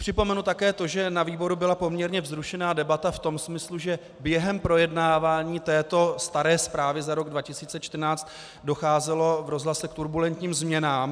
Připomenu také to, že na výboru byla poměrně vzrušená debata v tom smyslu, že během projednávání této staré zprávy za rok 2014 docházelo v rozhlase k turbulentním změnám.